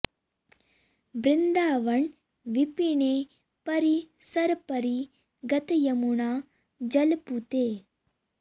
बृंदावन विपिने परि सर परि गत यमुना जल पूते